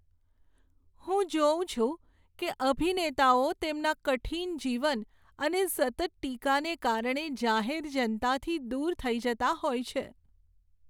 હું જોઉં છું કે અભિનેતાઓ તેમના કઠિન જીવન અને સતત ટીકાને કારણે જાહેર જનતાથી દૂર થઈ જતા હોય છે.